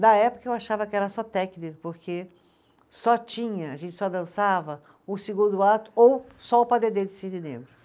Na época, eu achava que era só técnica, porque só tinha, a gente só dançava o segundo ato ou só o padedê de Cisne Negro.